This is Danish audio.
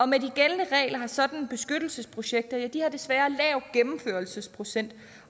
med de gældende regler har sådanne beskyttelsesprojekter desværre lav gennemførelsesprocent